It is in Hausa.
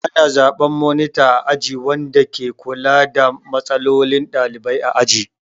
Ana zaɓen monita a aji wanda ke kula da matsalolin ɗalibai a aji.